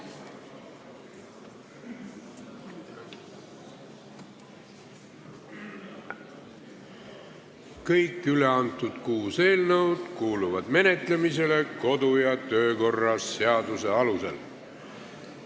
Kõiki üleantud eelnõusid menetleme kodu- ja töökorra seaduse alusel.